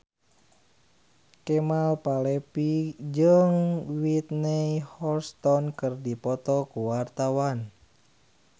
Kemal Palevi jeung Whitney Houston keur dipoto ku wartawan